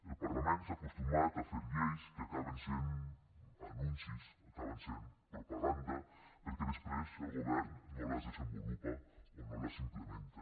el parlament s’ha acostumat a fer lleis que acaben sent anuncis acaben sent propaganda perquè després el govern no les desenvolupa o no les implementa